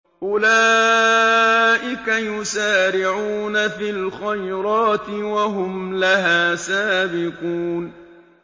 أُولَٰئِكَ يُسَارِعُونَ فِي الْخَيْرَاتِ وَهُمْ لَهَا سَابِقُونَ